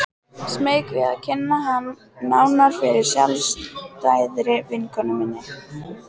Smeyk við að kynna hann nánar fyrir sjálfstæðri vinkonu minni.